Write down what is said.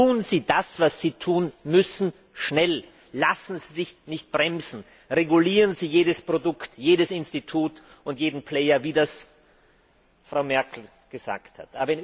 Tun Sie das, was Sie tun müssen, schnell! Lassen Sie sich nicht bremsen! Regulieren Sie jedes Produkt, jedes Institut und jeden Player, wie das Frau Merkel gesagt hat!